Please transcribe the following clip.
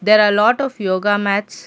there are lot of yoga mats.